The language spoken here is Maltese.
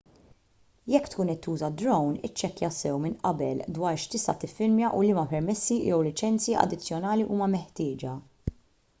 jekk tkun qed tuża drone iċċekkja sew minn qabel dwar x'tista' tiffilmja u liema permessi jew liċenzji addizzjonali huma meħtieġa